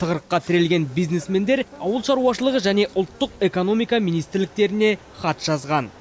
тығырыққа тірелген бизнесмендер ауыл шаруашылығы және ұлттық экономика министрліктеріне хат жазған